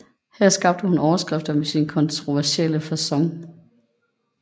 Her skabte hun overskrifter med sin kontroversielle facon